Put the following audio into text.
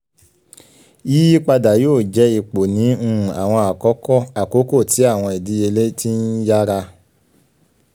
yiyipada yoo jẹ ipo ni um awọn akoko ti awọn idiyele ti nyara